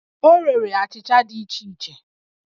O rere achịcha dị iche iche